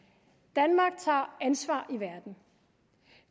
danmark tager ansvar i verden